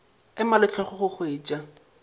ema le hlogo go hwetša